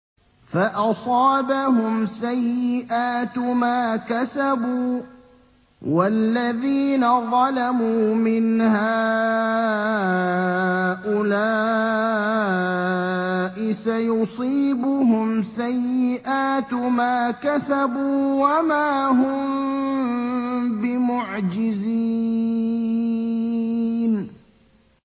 فَأَصَابَهُمْ سَيِّئَاتُ مَا كَسَبُوا ۚ وَالَّذِينَ ظَلَمُوا مِنْ هَٰؤُلَاءِ سَيُصِيبُهُمْ سَيِّئَاتُ مَا كَسَبُوا وَمَا هُم بِمُعْجِزِينَ